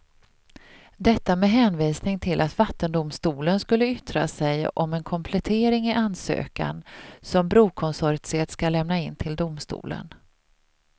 Detta med hänvisning till att vattendomstolen skulle yttra sig om en komplettering i ansökan som brokonsortiet ska lämna in till domstolen.